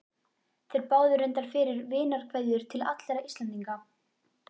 Þeir báðu reyndar fyrir vinarkveðjur til allra Íslendinga.